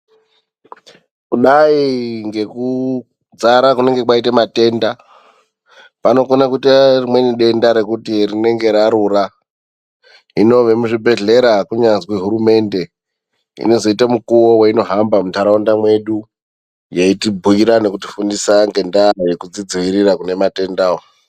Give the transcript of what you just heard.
Kudai ngekudzara kunenge kwaite matenda panofane kuita rimweni denda rekuti rinenga rarura . Hino vemuzvibhedhlera kunyazwi hurumende, inozoita mukuwo weinohamba muntaraunda mwedu yeitibhuyira ngekutifundisa ngendaa yekudzidziirira kune matenda awa.